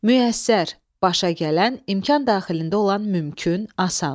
Müyəssər – başa gələn, imkan daxilində olan, mümkün, asan.